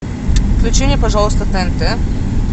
включи мне пожалуйста тнт